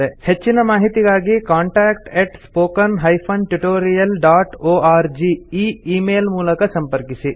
ಹೆಚ್ಚಿನ ಮಾಹಿತಿಗಾಗಿ contact spoken tutorialorg ಈ ಈ ಮೇಲ್ ಮೂಲಕ ಸಂಪರ್ಕಿಸಿ